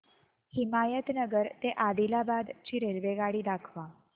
हिमायतनगर ते आदिलाबाद ची रेल्वेगाडी दाखवा